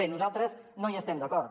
bé nosaltres no hi estem d’acord